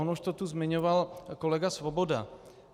On už to tu zmiňoval kolega Svoboda.